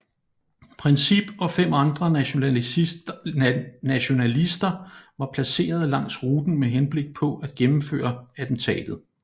Princip og fem andre nationalister var placeret langs ruten med henblik på at gennemføre attentatet